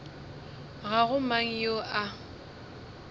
ga go mang yo a